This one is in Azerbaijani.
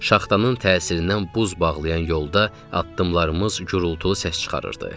Şaxtanın təsirindən buz bağlayan yolda addımlarımız gurultulu səs çıxarırdı.